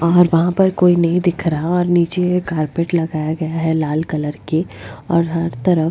और वहां पर कोई नहीं दिख रहा और नीचे ये कारपेट लगाया गया है लाल कलर के और हर तरफ --